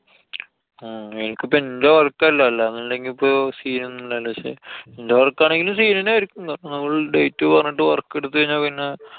ഹും എനിക്കിപ്പൊ ഇന്‍റെ work അല്ല. അല്ലാന്നുണ്ടായിരുന്നെങ്കില്‍ ഇപ്പൊ scene ഒന്നും ണ്ടായിരുന്നില്ല പക്ഷെ എന്‍റെ work അന്നെ ആയിരിക്കും. കാരണം നമ്മളു date പറഞ്ഞിട്ട് work എടുത്ത് കഴിഞ്ഞാ പിന്നെ